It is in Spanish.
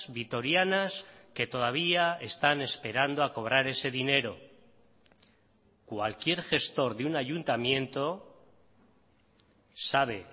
vitorianas que todavía están esperando a cobrar ese dinero cualquier gestor de un ayuntamiento sabe